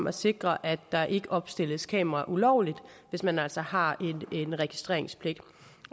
at sikre at der ikke opstilles kameraer ulovligt hvis man altså har en registreringspligt